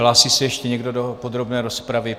Hlásí se ještě někdo do podrobné rozpravy?